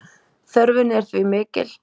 Þörfin er því mikil.